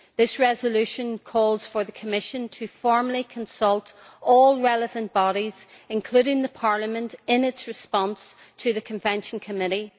This resolution calls for the Commission formally to consult all relevant bodies, including Parliament, in its response to the Convention Committee.